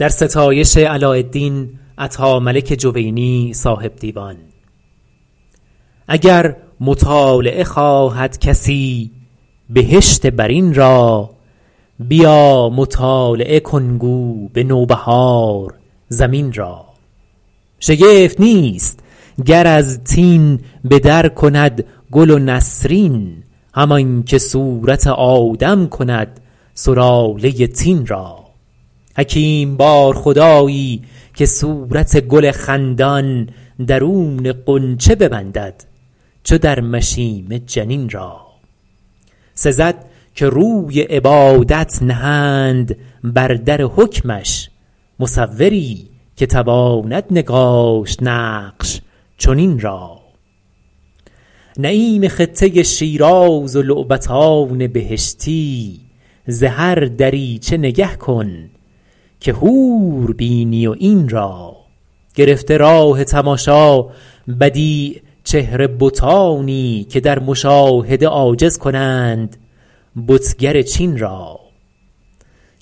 اگر مطالعه خواهد کسی بهشت برین را بیا مطالعه کن گو به نوبهار زمین را شگفت نیست گر از طین به در کند گل و نسرین همانکه صورت آدم کند سلاله طین را حکیم بار خدایی که صورت گل خندان درون غنچه ببندد چو در مشیمه جنین را سزد که روی عبادت نهند بر در حکمش مصوری که تواند نگاشت نقش چنین را نعیم خطه شیراز و لعبتان بهشتی ز هر دریچه نگه کن که حور بینی و عین را گرفته راه تماشا بدیع چهره بتانی که در مشاهده عاجز کنند بتگر چین را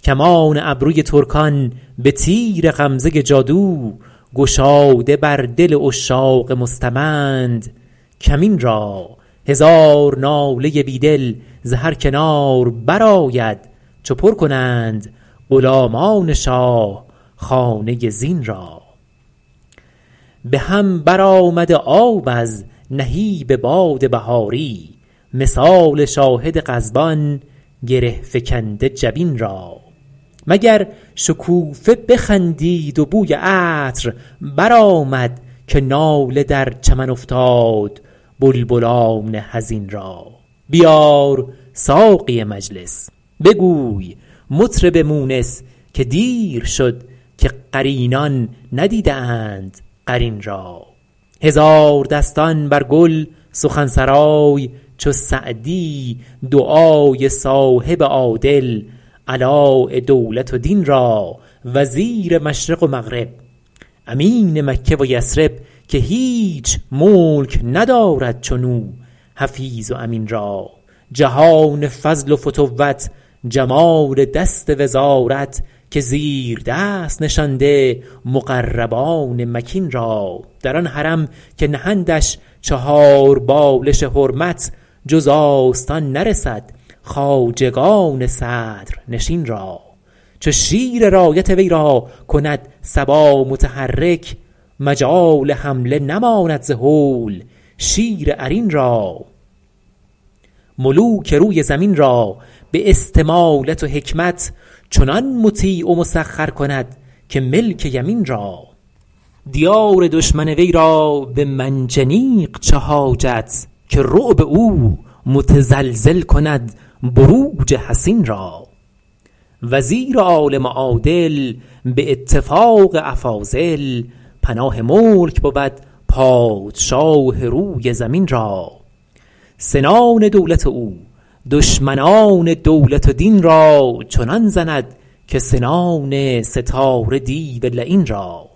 کمان ابرو ترکان به تیر غمزه جادو گشاده بر دل عشاق مستمند کمین را هزار ناله بیدل ز هر کنار برآید چو پر کنند غلامان شاه خانه زین را به هم برآمده آب از نهیب باد بهاری مثال شاهد غضبان گره فکنده جبین را مگر شکوفه بخندید و بوی عطر برآمد که ناله در چمن افتاد بلبلان حزین را بیار ساقی مجلس بگوی مطرب مونس که دیر شد که قرینان ندیده اند قرین را هزاردستان بر گل سخن سرای چو سعدی دعای صاحب عادل علاء دولت و دین را وزیر مشرق و مغرب امین مکه و یثرب که هیچ ملک ندارد چنو حفیظ و امین را جهان فضل و فتوت جمال دست وزارت که زیر دست نشانده مقربان مکین را در آن حرم که نهندش چهار بالش حرمت جز آستان نرسد خواجگان صدرنشین را چو شیر رایت وی را کند صبا متحرک مجال حمله نماند ز هول شیر عرین را ملوک روی زمین را به استمالت و حکمت چنان مطیع و مسخر کند که ملک یمین را دیار دشمن وی را به منجنیق چه حاجت که رعب او متزلزل کند بروج حصین را وزیر عالم و عادل به اتفاق افاضل پناه ملک بود پادشاه روی زمین را سنان دولت او دشمنان دولت و دین را چنان زند که سنان ستاره دیو لعین را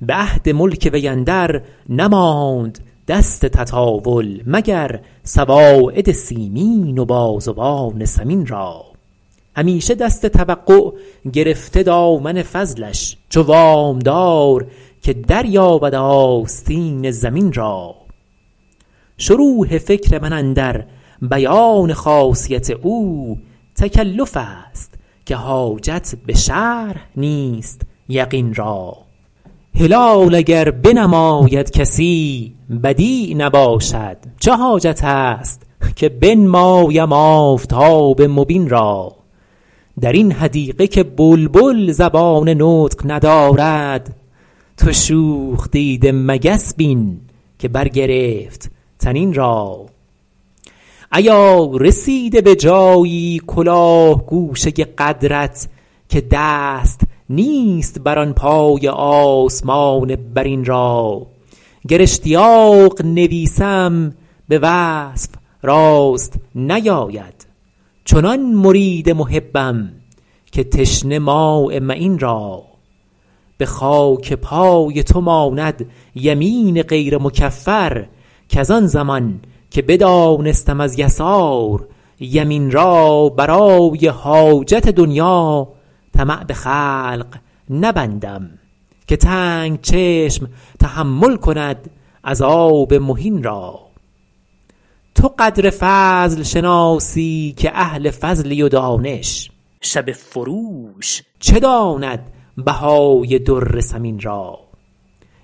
به عهد ملک وی اندر نماند دست تطاول مگر سواعد سیمین و بازوان سمین را همیشه دست توقع گرفته دامن فضلش چو وامدار که دریابد آستین ضمین را شروح فکر من اندر بیان خاصیت او تکلف است که حاجت به شرح نیست یقین را هلال اگر بنماید کسی بدیع نباشد چه حاجت است که بنمایم آفتاب مبین را در این حدیقه که بلبل زبان نطق ندارد تو شوخ دیده مگس بین که برگرفت طنین را ایا رسیده به جایی کلاه گوشه قدرت که دست نیست بر آن پایه آسمان برین را گر اشتیاق نویسم به وصف راست نیاید چنان مرید محبم که تشنه ماء معین را به خاک پای تو ماند یمین غیر مکفر کزان زمان که بدانستم از یسار یمین را برای حاجت دنیا طمع به خلق نبندم که تنگ چشم تحمل کند عذاب مهین را تو قدر فضل شناسی که اهل فضلی و دانش شبه فروش چه داند بهای در ثمین را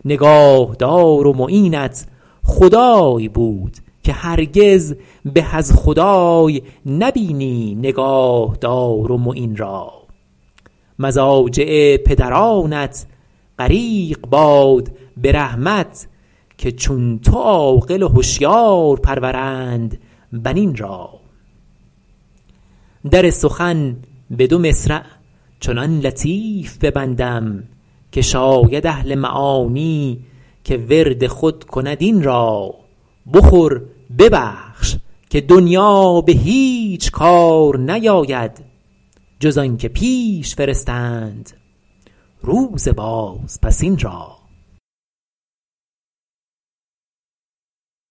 نگاهدار و معینت خدای بود که هرگز به از خدای نبینی نگاهدار و معین را مضاجع پدرانت غریق باد به رحمت که چون تو عاقل و هشیار پرورند بنین را در سخن به دو مصرع چنان لطیف ببندم که شاید اهل معانی که ورد خود کند این را بخور ببخش که دنیا به هیچ کار نیاید جز آنکه پیش فرستند روز بازپسین را